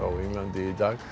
í Bretlandi í dag